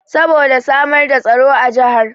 Saboda samar da tsaro a jahar